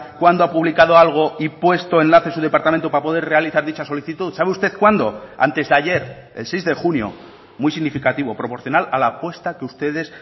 cuándo ha publicado algo y puesto enlaces su departamento para poder realizar dicha solicitud sabe usted cuándo antes de ayer el seis de junio muy significativo proporcional a la apuesta que ustedes